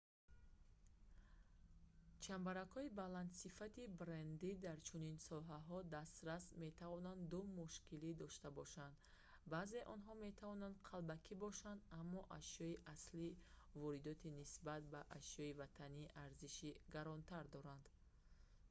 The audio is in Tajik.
чамбаракҳои баландсифати брендии дар чунин соҳаҳо дастрас метавонанд ду мушкилӣ дошта бошанд баъзеи онҳо метавонанд қалбакӣ бошанд аммо ашёи аслии воридотӣ нисбат ба ашёи ватанӣ арзиши гаронтар дорад